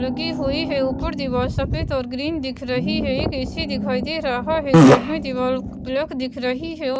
लगी हुई है ऊपर दीवार सफेद और ग्रीन दिख रही है एक ए_सी दिखाई दे रहा है साइड में दीवाल प्लक दिख रही है औ--